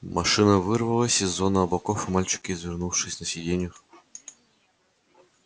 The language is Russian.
машина вырвалась из зоны облаков и мальчики извернувшись на сиденьях